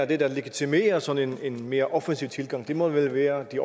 det der legitimerer sådan en mere offensiv tilgang må vel være de